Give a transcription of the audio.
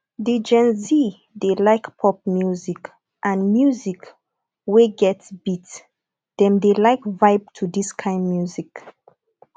di gen z dey like pop music and music wey get beat dem dey like vibe to this kind music